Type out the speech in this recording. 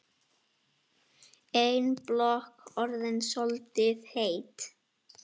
Ein blokk orðin soldið heit.